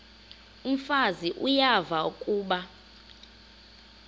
umfazi uyavuya kuba